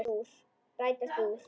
Rætast úr?